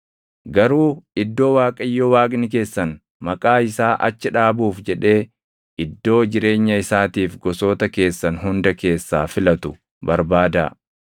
Garuu iddoo Waaqayyo Waaqni keessan Maqaa isaa achi dhaabuuf jedhee iddoo jireenya isaatiif gosoota keessan hunda keessaa filatu barbaadaa. Achis dhaqaa;